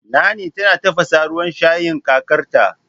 Nanny tana tafasa ruwan shayin kakarta